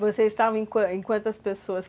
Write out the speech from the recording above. Você estava em quantas quantas pessoas?